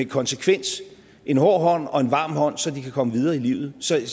konsekvens en hård hånd og en varm hånd så de kan komme videre i livet så jeg